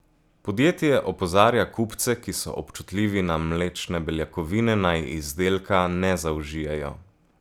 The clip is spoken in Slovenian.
Podjetje opozarja kupce, ki so občutljivi na mlečne beljakovine, naj izdelka ne zaužijejo.